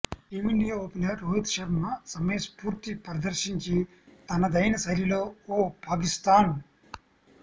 team India opener Rohit Sharma సమయస్ఫూర్తి ప్రదర్శించి తనదైనశైలిలో ఓ పాకిస్థాన్